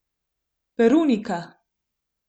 Perunika.